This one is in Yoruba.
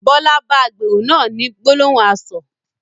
Bọlá bá agbèrò náà ni gbólóhùn asọ̀